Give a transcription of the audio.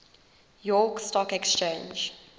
york stock exchange